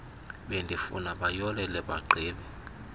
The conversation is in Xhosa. bendifuna bayolele bagqibe